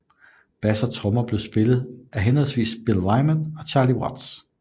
Bass og trommer blev spillet henholdsvis af Bill Wyman og Charlie Watts